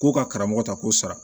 Ko ka karamɔgɔ ta k'o sara